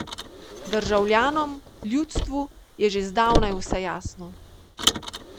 Državljanom, ljudstvu je že zdavnaj vse jasno.